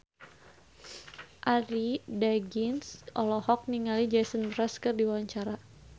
Arie Daginks olohok ningali Jason Mraz keur diwawancara